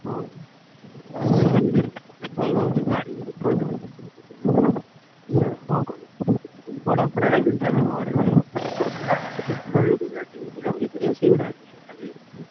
ହଁ ଭଲ ଗାଡି ଗୋଟେ ୟେ କଣ କହିଲ ଭଡା ଫଡା ।